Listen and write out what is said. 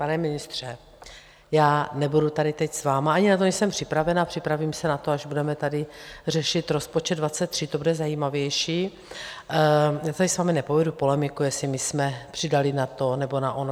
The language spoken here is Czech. Pane ministře, já nebudu tady teď s vámi - ani na to nejsem připravena, připravím se na to, až budeme tady řešit rozpočet 2023, to bude zajímavější - já tady s vámi nepovedu polemiku, jestli my jsme přidali na to nebo na ono.